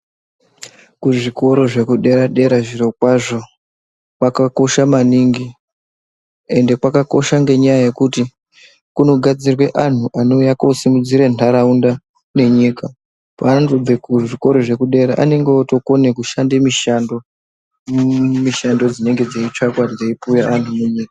Kuzvikora zvekudera dera zviro kwazvo kwakakosha maningi ende kwakosha ngenya yekuti kunogadzirwa anhu anouya kusimudza nharaunda nenyika kuti vandu pavanozobva kuzvikora zvepadera anenge otokone kushanda mushando dzedzeitsvakwa dzeipuwa andu munyika .